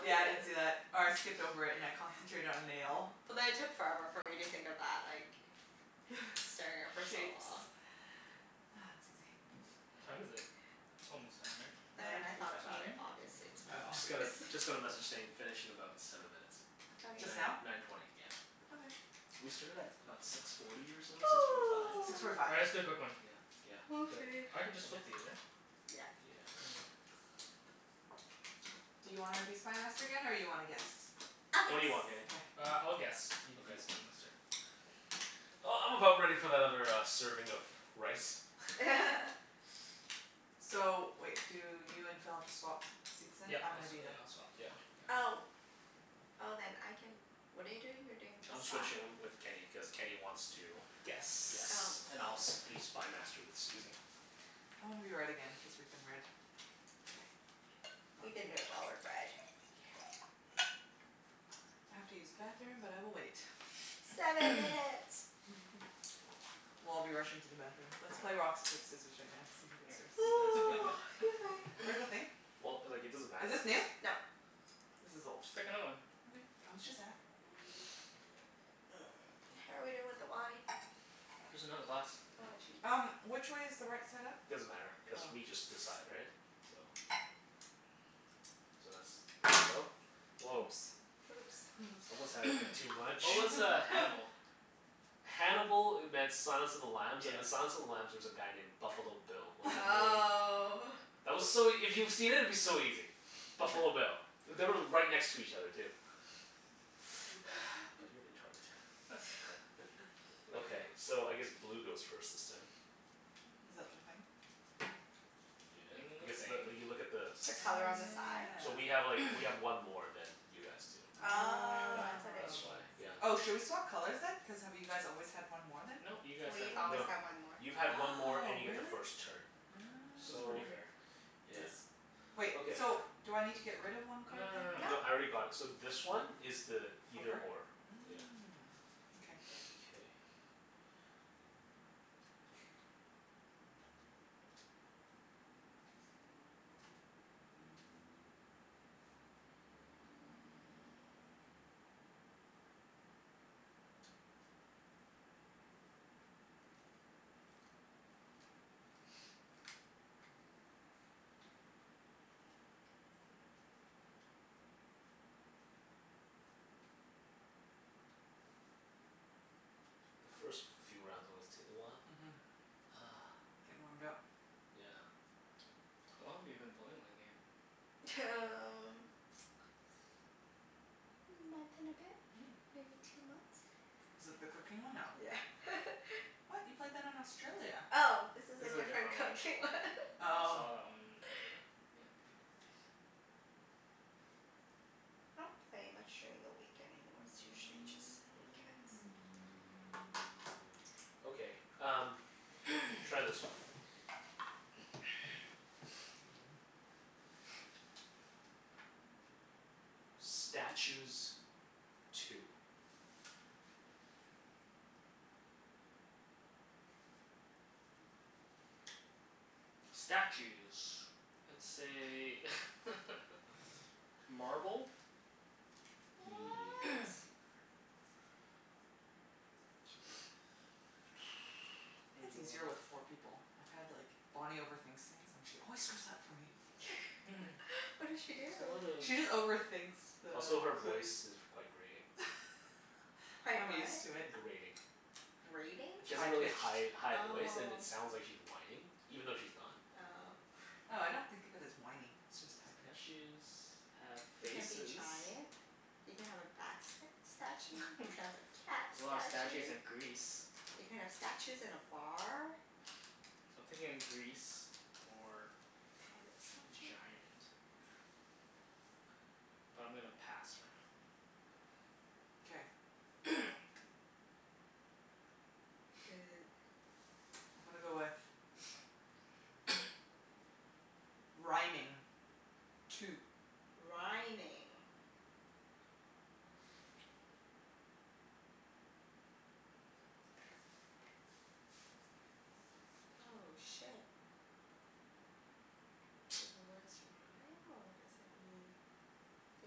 Yeah, I didn't see that. Or I skipped over it and I concentrated on nail. But then it took forever for me to think of that, like staring at it for so Shapes. long. Ah, Mm. Susie. What time is it? It's almost time, right? Then when Nine I thought about it, fifteen. obviously it's I more u- just got a obvious. just got a message saying finish in about seven minutes. Just now? Nine Okay. nine twenty, yeah. Okay. We started at about six forty or so? Six forty five? Six forty five. All right, let's do a quick one. Yeah yeah. 'Scuse Do me. it. I can just flip these, right? Yep. Yeah. Do you wanna be Spy Master again, or you wanna guess? I'll What do guess. you want, Kenny? Okay. Uh, I'll guess. You can be Spy Okay. Master. Uh, I'm about ready for that other uh serving of rice. So wait, do you and Phil have to swap seats then? Yep. I'm I'll gonna swa- be the yeah, I'll swap. Yeah yeah. Oh. Oh, then I can, what are you doing? You're doing I'm this side? switching um with Kenny, cuz Kenny wants to Guess. Oh. guess. And I'll s- be Spy Master with Susie. I wanna be red again cuz we've been red. K. We've been doing well with red. Yeah. K. I have to use the bathroom, but I will wait. Seven minutes. We'll all be rushing to the bathroom. Let's play rock, Yeah. sc- paper, scissors right now to see who All goes first. right. You guys pick one. Excuse me. Where's the thing? Well, like it doesn't Is matter if this new? it's No. This is old. Just pick another one. Okay. I was just ask Mm, how are we doing with the wine? There's another glass. Oh, jeez. Um, which way is the right side up? Doesn't matter, cuz Oh. we just decide, right? So So that's, there you go. Woah. Oops. Whoops. Someone's had a bit too much. What was uh Hannibal? Hannibal e- meant Silence of the Lambs, and Yeah. in Silence of the Lambs there was a guy named Buffalo Bill. Was Oh. That was so ea- if you've seen it, it'd be so easy. Buffalo Bill. They were right next to each other, too. But you're retarded. Okay. So, I guess blue goes first this time. Is that the thing? The Yeah, thing in the because the, thing. you look at the The Oh color on sides. the side? So yeah. we have like, we have one more than you guys do. Oh, Yeah, that's what it that's why. means. Oh. Oh, Yeah. should we swap colors then? Cuz have you guys always had one more then? No. You guys had We've one always more. No. had one more. You've had one more Oh, and you get the really? first turn. So it's pretty So, fair. Oh. It yeah. is. Wait, Okay. so do I need to get rid of one No card no no no then? No. No, I no. already got it. So this one is the either or. Yeah. Mm. Okay. Mkay. The first few rounds always take a while. Mhm. Ah. Gettin' warmed up. Yeah. How long have you been playing that game? T- um month and a bit? Mm. Maybe two months. Is it the cooking one? No. Yeah. What? You played that in Australia. Oh, this is This a is a different different cooking one. one. I Oh. saw that one earlier. Yeah, before. I don't play much during the week anymore. It's usually just weekends. Okay, um Try this one. Statues. Two. Statues. Let's say Marble. What? It's easier with four people. I've had like, Bonnie overthinks things and she always screws up for me. What did she do? There's a lot She just of overthinks the Also, her clues. voice is quite grating. Quite I'm what? used to it. Grating. Grating? She has High a really pitched. high high voice and Oh. it sounds like she's whining. Even though she's not. Oh. Oh, I don't think of it as whiny, it's just high pitched. Statues have You can be faces. giant. You can have a bat st- statue. There's You can have a cat a lot of statues statue. in Greece. You can have statues in a bar. So I'm thinking Greece or Pirate statue. giant. But I'm gonna pass for now. K. Okay. I'm gonna go with Rhyming. Two. Rhyming. Oh, shit. Do the words rhyme, or does it mean I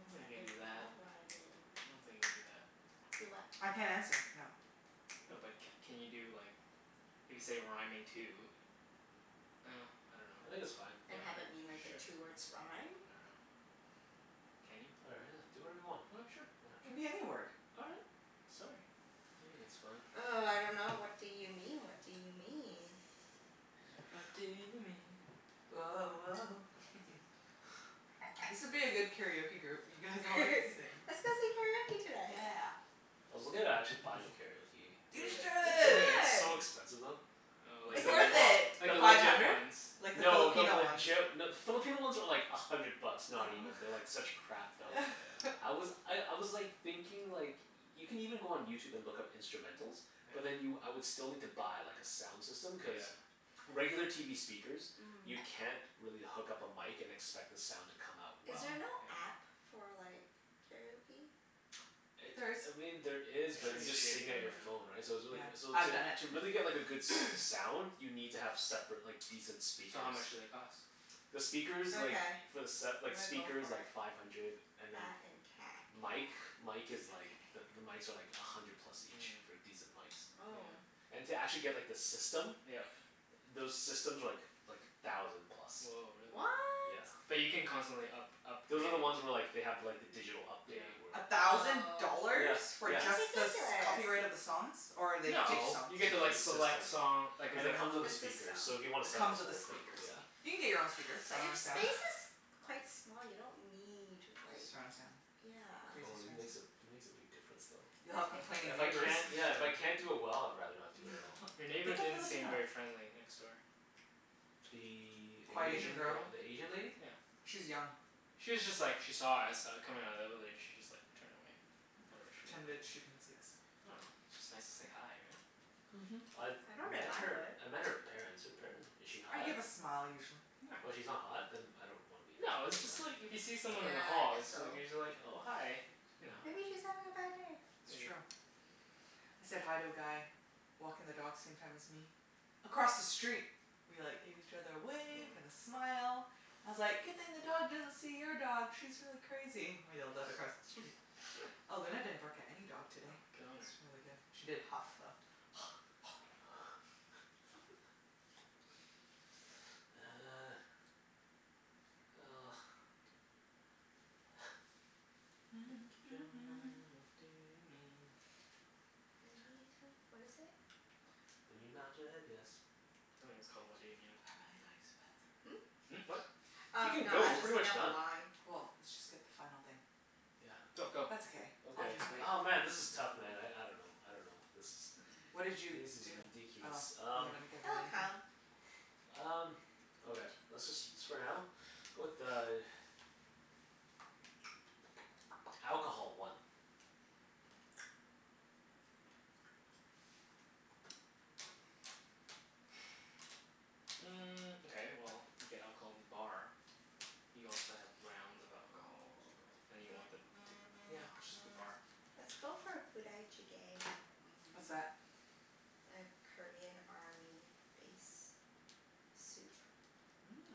don't think that you can do that. involve rhyming? I don't think you can do that. Do what? I can't answer. No. No but c- can you do like, if you say rhyming two Ah, I dunno. I think Well, it's fine. And have it mean, like, the k, two sure. words rhyme? I dunno. Can you? All I do whatever you want. right. Sure. Yeah. It can be any word. All right. Sorry. I think it's fine. Oh, I dunno. What do you mean? What do you mean? What do you mean? Woah woah. This would be a good karaoke group. You guys all like to sing. Let's go sing karaoke tonight. Yeah. I was looking at actually buying a karaoke Do You machine. it. You Do should. it. Yeah. It's should! so expensive though. Oh, like It's Like Is the the le- worth it? it. like pro- the the Five legit hundred? ones. Like the No, the Filipino ones. legit No, the Filipino ones are like a hundred bucks. Not even. They're like such crap Oh, though. Oh. yeah. I was I I was like thinking like Y- you can even go on YouTube and look up instrumentals. But then you, Yeah. I would still need to buy like a sound system, cuz Yeah. regular TV speakers you Mm. can't really hook up a mic and expect the sound to come out Is well. there Mhm. Yeah. no app for like karaoke? It, There is. I mean, there Yeah, is but you it's Shitty. just shitty sing at your though, phone, Mm. yeah. right? So it's Yeah. really c- so I've to done it. to really get like a good s- sound You need to have separate like decent So how speakers. much do they cost? The speakers like Okay. for the set, I'm like gonna go speakers, for like it. five hundred. And then That and cat. mic mic Okay. is like the the mics are like a hundred plus Mm, each. yeah. For decent mics. Oh. And to actually get like the system Yeah. Those systems are like like a thousand plus. Woah, really? What? Yeah. But you can constantly up- upgrade Those are the ones where like they have like the digital update Yeah. where A thousand Oh. Yeah. dollars? For Yeah. just the s- That's ridiculous. copyright of the songs? Or are they To fake No. just songs? You get make sure to like the system select song, like a Cuz Ah, it it comes comes with The a system. speaker, so if you wanna set the with the whole thing, speakers. yeah. You can get your own speakers. But your Surround sound. Yeah. space is quite small. You don't need like Surround sound. Crazy Oh Yeah. it surround makes a, sound. it makes a big difference though. You'll have complaining But it's If I neighbors. can't, yeah, if I Yeah. can't do it well I'd rather not do it at all. Your neighbor Get the didn't seem Filipino one. very friendly, next door. The The Quiet A- Asian Asian girl. girl. the Asian lady? Yeah. She's young. She was just like, she saw us uh coming outta the evelator. She just like turned away. Oh, Whatever she pretended she didn't see us. I dunno. It's just nice to say hi, right? Mhm. I've I don't know if met I her, would. I met her parents. Her paren- is she I hot? give a smile usually. No. Oh, she's not hot? Then I don't wanna meet No, her. it's Doesn't just like matter. if you see someone in the Okay. Yeah, I hall guess it's like so. you're just like, "Oh, hi." Okay. You know? Yeah. Maybe she's having a bad day. It's Maybe. true. I said hi to a guy walking the dogs same time as me across the street. We like gave each other a wave and Yeah. a smile. I was like, "Good thing the dog doesn't see your dog. She's really crazy." I yelled that across the street. Oh, Luna didn't bark at any dog Oh, today. good on her. It's really good. She did huff, though. Uh. Well. What do you mean? Make up your mind. What do you mean? When you tell, what is it? When you nod your Oh, head yes. I think it's called, "What Do You Mean?" I've really gotta use the Hmm? bathroom. Hmm, what? Oh, You can no, go. I We're was just pretty thinking much of the done. line. Well, let's just get the final thing. Yeah. Go, That's go. okay. I'll Okay. just wait. Oh, man, this is tough man. I I dunno. I dunno. This is What This did you is do? Oh, ridiculous. you Um haven't given It'll anything? come. Um, okay. Let's just s- for now? Go with uh Alcohol. One. Mm, okay, well you get alcohol in the bar. You also have rounds of Oh. alcohol. And you want them t- yeah, just the bar. Let's go for Budae Jjigae. What's Mmm. that? A Korean army base soup. Mmm.